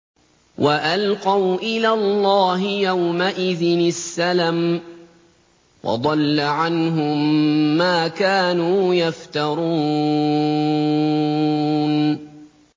وَأَلْقَوْا إِلَى اللَّهِ يَوْمَئِذٍ السَّلَمَ ۖ وَضَلَّ عَنْهُم مَّا كَانُوا يَفْتَرُونَ